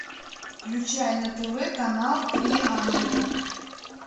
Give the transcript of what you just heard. включай на тв канал три ангела